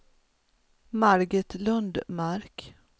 Margit Lundmark